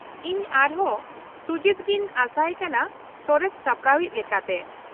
ᱤᱧ ᱟᱨᱦᱚᱸ ᱥᱩᱡᱤᱛ ᱜᱮᱧ ᱟᱥᱟᱭᱮ ᱠᱟᱱᱟ ᱥᱚᱨᱮᱥ ᱥᱟᱯᱲᱟᱣᱤᱡ ᱞᱮᱠᱟᱛᱮ ᱾